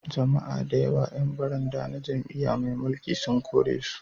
Jama'a da yawa 'yan baranda na jam'iyya mai mulki sun korisu